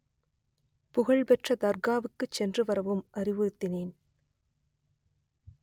புகழ்பெற்ற தர்காவுக்கு சென்று வரவும் அறிவுறுத்தினேன்